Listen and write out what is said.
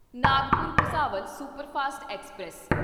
Nagpur Bhusawal superfast express